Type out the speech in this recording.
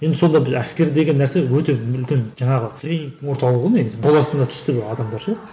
енді сонда әскер деген нәрсе өте мүлдем жаңағы тренингтің орталығы ғой негізі түсті адамдар ше